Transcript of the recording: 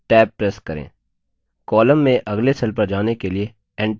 row में पिछले cell पर जाने के लिए shift + tab प्रेस करें